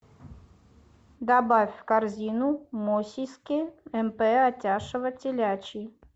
добавь в корзину мосиски мп атяшево телячьи